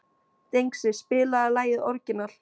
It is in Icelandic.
Dengsi, spilaðu lagið „Orginal“.